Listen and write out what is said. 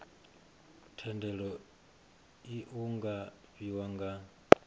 thendelo iu nga fhiwa nga